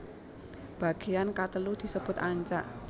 Bagean katelu disebut ancak